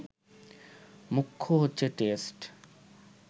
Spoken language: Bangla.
মুখ্য হচ্ছে টেস্ট